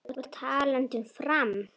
Og talandi um Fram.